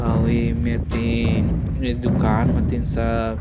अऊ एमेर तीन ए दुकान मे तीन सर --